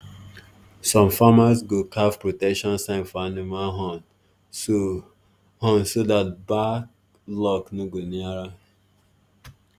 some farmers go carve protection sign for animal horn so horn so that bad luck no go near am